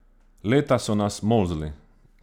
Leta so nas molzli!